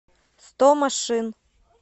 сто машин